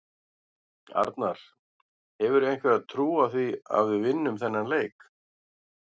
Arnar: Hefurðu einhverja trú á því að við vinnum þennan leik?